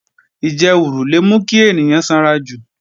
Ìjẹwùrù le mú kí ènìyàn sanrajù